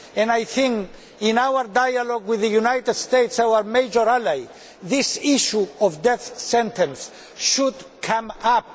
I think that, in our dialogue with the United States our major ally this issue of the death sentence should come up.